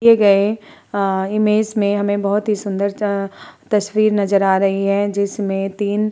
दिए गए अ इमेज में हमें बोहोत ही सुन्दर च तस्वीर नजर आ रही है। जिसमें तीन --